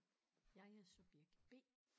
Jeg er subjekt B